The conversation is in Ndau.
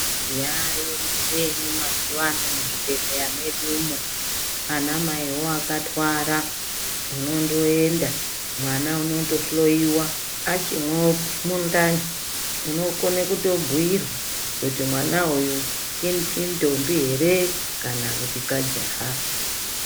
Yaayo mucheni mazuva ano muzvibhedhlera medumo. Anamaiwo akatwara unondoenda, mwana unondohloyiwa achimo mundani. Unokona kutobhuyirwa kuti mwana uyu indombi ere kana kuti kajaha.